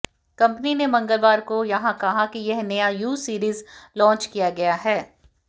company ने मंगलवार को यहां कहा कि यह नया यू सीरीज लाँच किया गया है